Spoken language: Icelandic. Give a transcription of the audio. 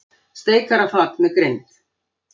Steikarfat með grind.